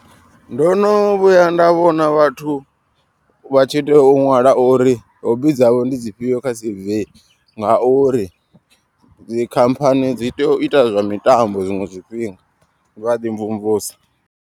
Ndo no vhuya nda vhona vhathu vha tshi tea u ṅwala uri hobi dzavho ndi dzi fhio kha C_V. Ngauri dzi khamphani dzi tea u ita zwa mitambo zwiṅwe zwifhinga vha ḓi mvumvusa.